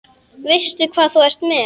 Veistu hvað þú ert með?